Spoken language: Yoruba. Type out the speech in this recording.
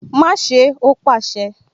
Má ṣé ẹ! Ó pàṣẹ